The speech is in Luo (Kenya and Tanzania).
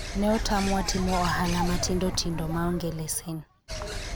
ne otamwa timo ohala matindo tindo maonge leses